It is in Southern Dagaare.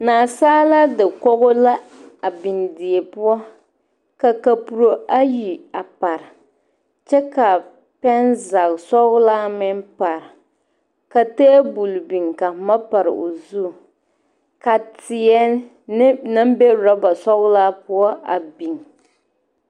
Nasaalaa dakogi la a biŋ die poɔ ka kapuro ayi a pare kyɛ ka pɛnzagesɔglaa meŋ pare ka tabol biŋ ka boma pare o zu ka teɛ ne naŋ be orɔbasɔglaa poɔ a biŋ.